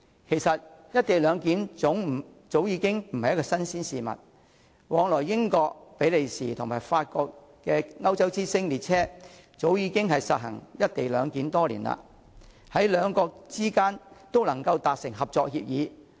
其實"一地兩檢"早已經不是新鮮事，往來英國、比利時與法國的"歐洲之星"列車早已實行"一地兩檢"多年，兩國之間也能夠達成合作協議。